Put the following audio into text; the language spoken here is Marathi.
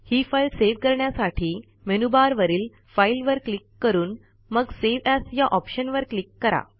ही फाईल सेव्ह करण्यासाठी मेनूबारवरील फाइल वर क्लिक करून मग सावे एएस या ऑप्शनवर क्लिक करा